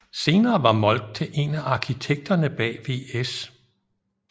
Senere var Moltke en af arkitekterne bag VS